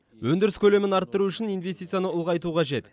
өндіріс көлемін арттыру үшін инвестицияны ұлғайту қажет